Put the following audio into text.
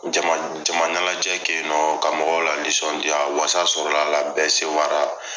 Jama jama ɲanajɛ kɛ yi nɔn ka mɔgɔw la nisɔndiya wasa sɔrɔla la bɛɛ sewa la.